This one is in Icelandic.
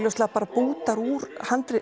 bútarnir úr